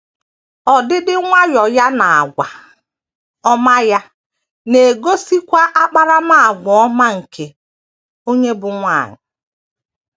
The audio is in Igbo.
Ọdịdị nwayọọ ya na àgwà ọma ya na - egosikwa akparamàgwà ọma nke onye bụ́ nwanyị.